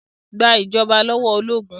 Gba ìjọba lọ́wọ́ ológun!